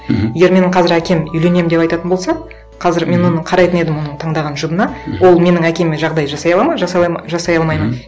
мхм егер менің қазір әкем үйленемін деп айтатын болса қазір мен оны қарайтын едім оның таңдаған жұбына ол менің әкеме жағдай жасай алады ма жасай алмайды ма мхм